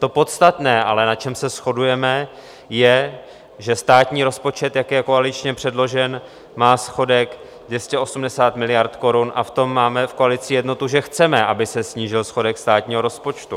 To podstatné ale, na čem se shodujeme, je, že státní rozpočet, jak je koaličně předložen, má schodek 280 miliard korun a v tom máme v koalici jednotu, že chceme, aby se snížil schodek státního rozpočtu.